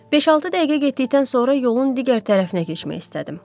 Beş-altı dəqiqə getdikdən sonra yolun digər tərəfinə keçmək istədim.